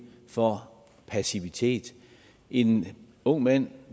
for passivitet en ung mand